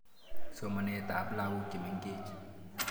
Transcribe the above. Somanet ap lagok che mengech.